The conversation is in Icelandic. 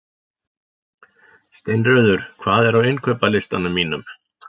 Steinröður, hvað er á innkaupalistanum mínum?